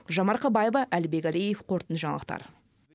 гүлжан марқабаева әлібек әлиев қорытынды жаңалықтар